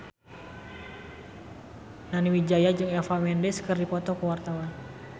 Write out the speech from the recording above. Nani Wijaya jeung Eva Mendes keur dipoto ku wartawan